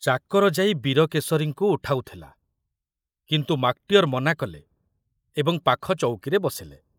ଚାକର ଯାଇ ବୀରକେଶରୀଙ୍କୁ ଉଠାଉଥୁଲା, କିନ୍ତୁ ମାକଟିଅର ମନାକଲେ ଏବଂ ପାଖ ଚୌକିରେ ବସିଲେ।